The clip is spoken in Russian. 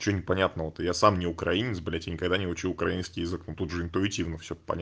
что непонятного то я сам не украинец блядь и никогда не учил украинский язык но тут же интуитивно всё понятно